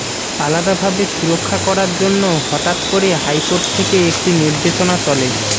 আলাদাভাবে সুরক্ষা করার জন্য হঠাৎ করে হাইকোর্ট থেকে একটি নির্দেশনা চলে